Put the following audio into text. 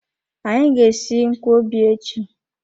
Anyị ga-esi nkwọbi echi.